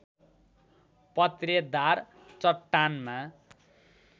पत्रेदार चट्टानमा